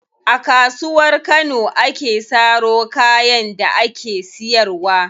A Kasuwar Kano ake saro kayan da ake siyarwa.